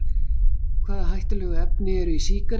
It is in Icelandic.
Hvaða hættulegu efni eru í sígarettum?